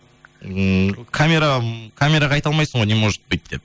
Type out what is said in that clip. ммм камера м камераға айта алмайсың ғой не может быть деп